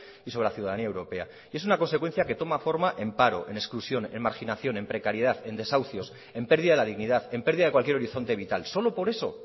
y sobre la ciudadanía europea es una consecuencia que toma forma en paro en exclusión en marginación en precariedad en desahucios en pérdida de la dignidad en pérdida de cualquier horizonte vital solo por eso